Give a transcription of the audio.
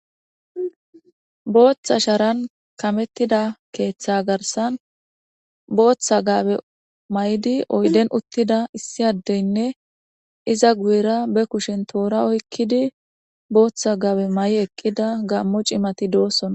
booththa sharan kamettida keeththe garsan booththa gaabe may7di oyden uttida issi addeynne iza guyera be kushen toora oykkidi booththa gaabe may7i eqqida gammo cimati doosona